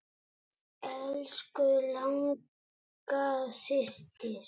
Elsku Inga systir.